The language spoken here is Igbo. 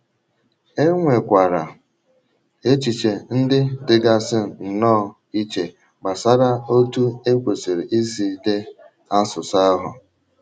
E nwekwara echiche ndị dịgasị nnọọ iche gbasara otú e kwesị̀rị̀ isi dee asụsụ ahụ.